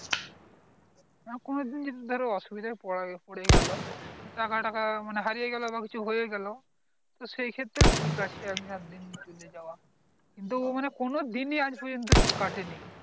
হ্যাঁ কোনো দিন যদি ধার অসুবিধায় পরে গেল যে টাকা টাকা হারিয়ে গেল বা কিছু হয়ে গেল তো সেইক্ষেত্রে ঠিক আছে এমনি আধ দিন চলে যাওয়া কিন্ত ও মানে কোনো দিন এ আজ পর্যন্ত কাটে নি